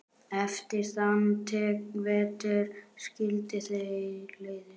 Eftir þann vetur skildi leiðir.